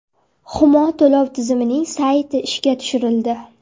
Humo to‘lov tizimining sayti ishga tushirildi.